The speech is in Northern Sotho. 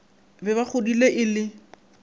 be ba godile e le